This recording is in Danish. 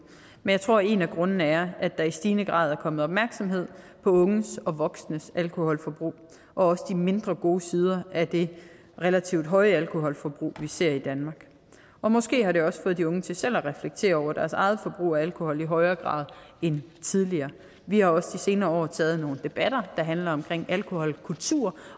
men jeg tror en af grundene er at der i stigende grad er kommet opmærksomhed på unges og voksnes alkoholforbrug og de mindre gode sider af det relativt høje alkoholforbrug vi ser i danmark måske har det også fået de unge til selv at reflektere over deres eget forbrug af alkohol i højere grad end tidligere vi har også i de senere år taget nogle debatter der handler om alkoholkultur